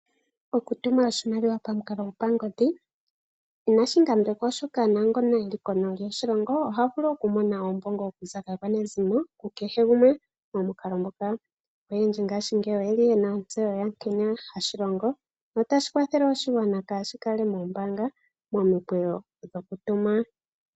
Okutuma oshimaliwa pamukalo gwo pangodhi inashi ngambekwa oshoka naangono eli kondje yoshilongo oha vulu okumona oombongo okuza kaakwanezimo, kukehe gumwe momukalo ngoka. Oyendji ngashingeyi oyeli yena ontseyo yankene hashi longo notashi kwathele oshigwana kashi kala mombaanga momikweyo dhokutuma.